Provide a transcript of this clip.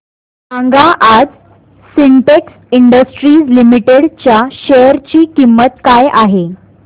सांगा आज Sintex industries limited च्या शेअर ची किंमत काय आहे